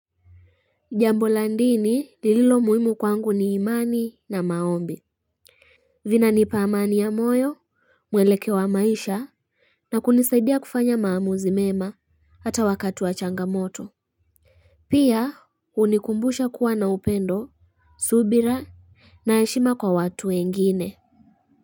Jambo la dini lililo muhimu kwangu ni imani na maombi. Vinanipa amani ya moyo mwelekeo wa maisha na kunisaidia kufanya maamuzi mema hata wakati wa changamoto. Pia hunikumbusha kuwa na upendo subira na heshima kwa watu wengine.